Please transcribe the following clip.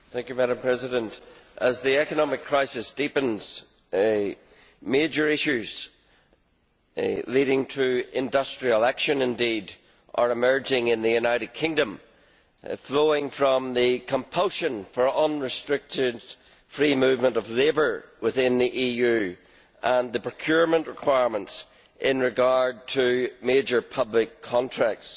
Madam President, as the economic crisis deepens, major issues leading to industrial action are emerging in the United Kingdom, flowing from the compulsion for unrestricted free movement of labour within the EU and the procurement requirements in regard to major public contracts,